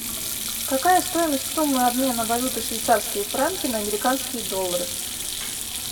какая стоимость суммы обмена валюты швейцарские франки на американские доллары